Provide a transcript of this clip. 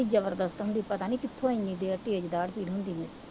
ਐਨੀ ਜ਼ਬਰਦਸਤ ਹੁੰਦੀ ਪਤਾ ਨਹੀਂ ਕਿੱਥੋਂ ਐਨੀ ਤੇਜ਼ ਦਾੜ੍ਹ ਪੀੜ ਹੁੰਦੀ